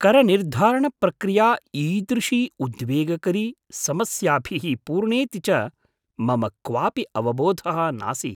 करनिर्धारणप्रक्रिया ईदृशी उद्वेगकरी, समस्याभिः पूर्णेति च मम क्वापि अवबोधः नासीत्।